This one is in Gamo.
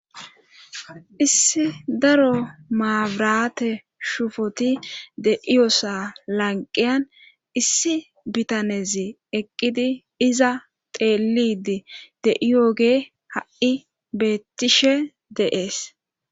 Issi daro maabirate shufoti de iyoosa lanqiyan issi bitanezi eqqidi iza teelidi de iooge ha'i beettishe deees.